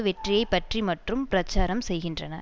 வெற்றியை பற்றி மட்டும் பிரச்சாரம் செய்கின்றன